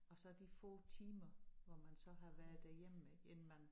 Og så de få timer hvor man så har været derhjemme ik inden man